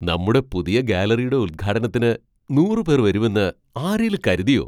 നമ്മുടെ പുതിയ ഗാലറിയുടെ ഉൽഘാടനത്തിന് നൂറ് പേർ വരുമെന്ന് ആരേലും കരുതിയോ ?